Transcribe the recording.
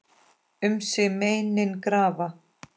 Um sig meinin grafa.